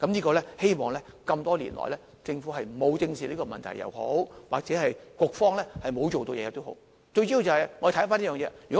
這麼多年來，不管是政府沒有正視這個問題，又或是局方沒有做任何事，最主要的是我們回看這件事。